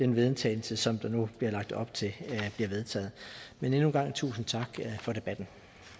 vedtagelse som der nu bliver lagt op til bliver vedtaget men endnu en gang tusind tak for debatten